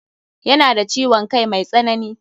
Ya na da ciwon kai mai tsanani.